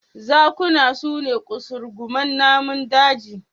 Zakuna su ne ƙasurguman namun daji.